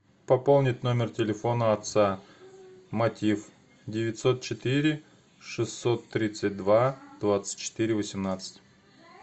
пополнить номер телефона отца мотив девятьсот четыре шестьсот тридцать два двадцать четыре восемнадцать